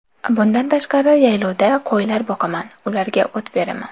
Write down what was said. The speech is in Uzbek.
Bundan tashqari, yayovda qo‘ylar boqaman, ularga o‘t teraman.